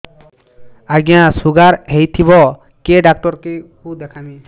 ଆଜ୍ଞା ଶୁଗାର ହେଇଥିବ କେ ଡାକ୍ତର କୁ ଦେଖାମି